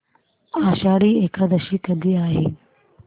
आषाढी एकादशी कधी आहे